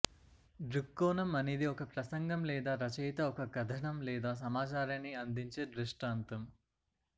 దృక్కోణం అనేది ఒక ప్రసంగం లేదా రచయిత ఒక కధనం లేదా సమాచారాన్ని అందించే దృష్టాంతం